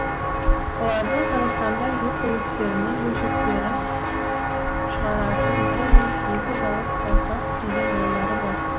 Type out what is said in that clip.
олардың қазақстанда жүк көліктерінің бөлшектерін шығаратын бір емес екі зауыт салсақ деген ойлары бар